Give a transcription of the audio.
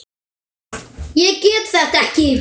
Ég get þetta ekki.